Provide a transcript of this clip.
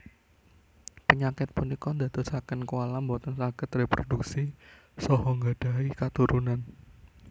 Penyakit punika ndadosaken koala boten saged reprodhuksi saha nggadhahi katurunan